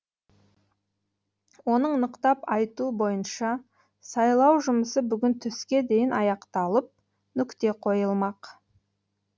оның нықтап айтуы бойынша сайлау жұмысы бүгін түске дейін аяқталып нүкте қойылмақ